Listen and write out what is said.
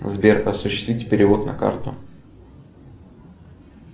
сбер осуществить перевод на карту